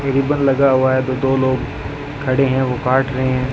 Ribbon लगा हुआ है जो दो लोग खड़े हैं वह काट रहे हैं।